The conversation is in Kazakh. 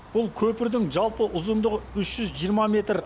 бұл көпірдің жалпы ұзындығы үш жүз жиырма метр